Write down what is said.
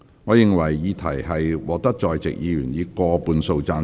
我認為議題獲得在席議員以過半數贊成。